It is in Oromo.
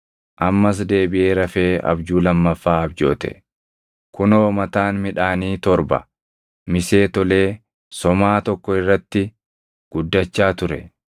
Ammas deebiʼee rafee abjuu lammaffaa abjoote; kunoo mataan midhaanii torba misee tolee somaa tokko irratti guddachaa ture.